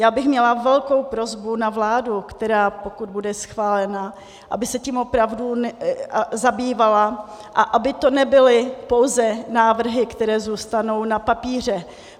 Já bych měla velkou prosbu na vládu, která, pokud bude schválena, aby se tím opravdu zabývala a aby to nebyly pouze návrhy, které zůstanou na papíře.